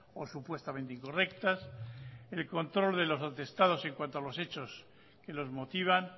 o supuestamente incorrectas el control de los atestados en cuanto a los hechos que los motivan